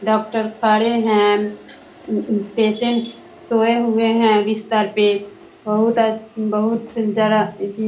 doctor खड़े हैं patient सस सोए हुए हैं बिस्तर पे बहुत अ बहुत जरा --